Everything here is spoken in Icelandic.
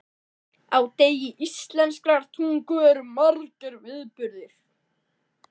Á degi íslenskrar tungu eru margir viðburðir.